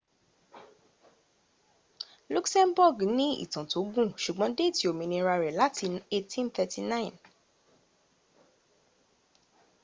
luxembourg ní ìtàn tó gùn ṣùgbọ́n déètì òmìnira rẹ láti 1839